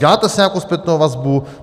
Děláte si nějakou zpětnou vazbu?